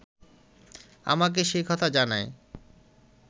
আমাকে সে কথা জানায়